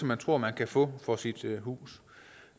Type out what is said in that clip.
man tror man kan få for sit hus